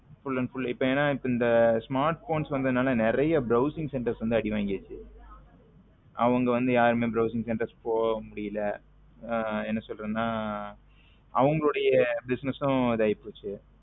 Full and full இப்போ என்ன இந்த smartphone வந்ததுனால நறிய browsing center வந்து ஆடி வாங்கிருச்சு அவங்க வந்து யாருமே browsing center போக முடில என்ன சொல்ல்றதுன அவங்களோட business நும் இது ஆகி போச்சு